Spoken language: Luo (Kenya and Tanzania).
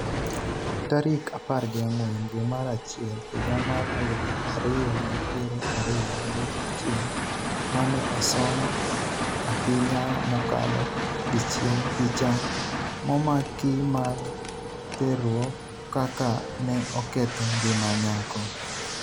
tarik apar gi ang'wen dwe mar achiel higa mar aluf ariyo gi piero ariyo gi achiel mane osom ahinya mokalo dichiel picha momakimag terruok kaka ne oketho ngima nyako